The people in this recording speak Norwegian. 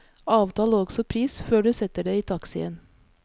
Avtal også pris før du setter deg i taxien.